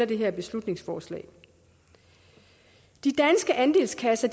det her beslutningsforslag de danske andelskasser